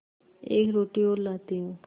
एक रोटी और लाती हूँ